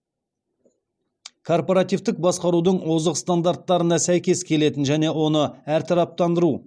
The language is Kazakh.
корпоративтік басқарудың озық стандарттарына сәйкес келетін және оны әртараптандыру